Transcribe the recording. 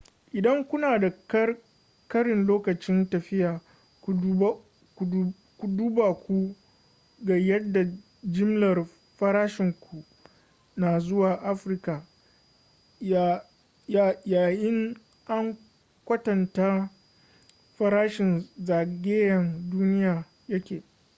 idan kuna da ƙarin lokacin tafiya ku duba ku ga yadda jimlar farashinku na zuwa afirka ya in an kwatanta farashin zagayen-duniya ya ke